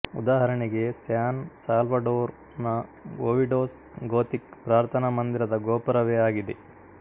ಉದಾಹರಣೆಗೆ San Salvador ನ Obidos Gothic ಪ್ರಾರ್ಥನಾ ಮಂದಿರದ ಗೋಪುರವೆ ಆಗಿದೆ